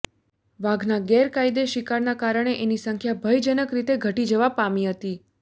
વાઘના ગેરકાયદે શિકારના કારણે એની સંખ્યા ભયજનક રીતે ઘટી જવા પામી હતી